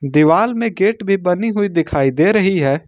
दीवाल में गेट भी बनी हुई दिखाई दे रही है।